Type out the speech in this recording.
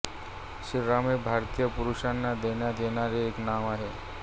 श्रीराम हे भारतीय पुरुषांना देण्यात येणारे एक नाव आहे